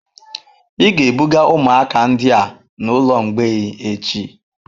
Ị ga-ebuga ụmụaka ndị a n'ụlọ mgbei echi.